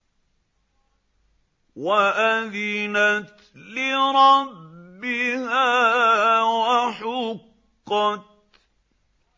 وَأَذِنَتْ لِرَبِّهَا وَحُقَّتْ